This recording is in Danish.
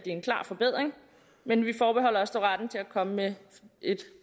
en klar forbedring men vi forbeholder os dog retten til at komme med et